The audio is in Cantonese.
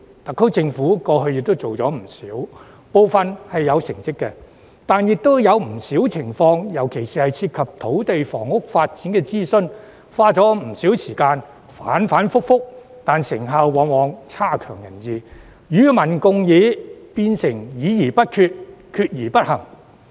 特區政府過去做過不少，部分亦有成效，但也有不少情況，尤其是涉及土地、房屋發展的諮詢，花了不少時間，反反覆覆，但成效往往有欠理想，與民共議變成議而不決、決而不行。